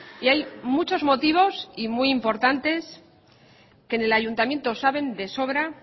y hay muchos motivos y muy importantes que en el ayuntamiento saben de sobra